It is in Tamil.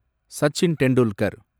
சச்சின் டெண்டுல்கர்